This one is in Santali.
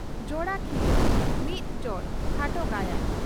"ᱡᱚᱲᱟ ᱠᱷᱤᱞᱟᱹ" (ᱢᱤᱫ ᱡᱚᱲ ᱠᱷᱟᱴᱚ ᱜᱟᱭᱟᱱ)